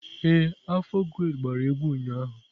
Ee, afọ grade gbara egwu ụnyaahụ.